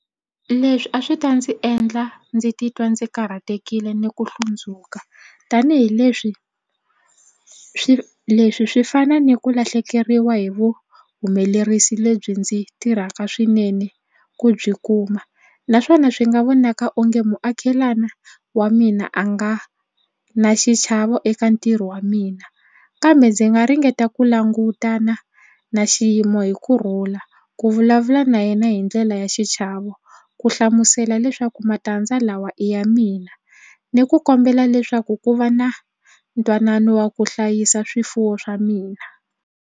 Leswi a swi ta ndzi endla ndzi titwa ndzi karhatekile ni ku hlundzuka tanihileswi swi leswi swi fana ni ku lahlekeriwa hi vuhumelerisi lebyi ndzi tirhaka swinene ku byi kuma naswona swi nga vonaka onge muakelani wa mina a nga na xichavo eka ntirho wa mina kambe ndzi nga ringeta ku langutana na xiyimo hi kurhula ku vula ku vulavula na yena hi ndlela ya xichavo ku hlamusela leswaku matandza lawa i ya mina ni ku kombela leswaku ku va na ntwanano wa ku hlayisa swifuwo swa mina.